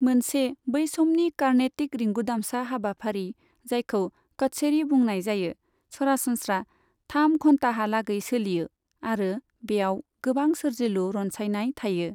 मोनसे बै समनि कर्नेटिक रिंगुदामसा हाबाफारि जायखौ कच्छेरी बुंनाय जायो, सरासनस्रा थाम घन्टाहालागै सोलियो, आरो बेयाव गोबां सोर्जिलु रनसायनाय थायो।